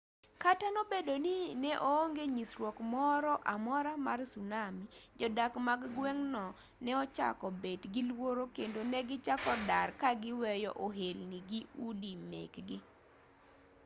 kata obedo ni ne onge nyisruok moro amora mar tsunami jodak mag gweng'no ne ochako bet gi luoro kendo negichako dar ka giweyo ohelni gi udi mekgi